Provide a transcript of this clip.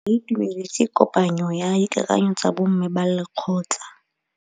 Ba itumeletse kôpanyo ya dikakanyô tsa bo mme ba lekgotla.